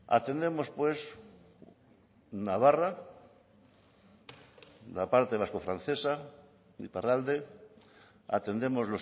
atendemos pues navarra la parte vasco francesa iparralde atendemos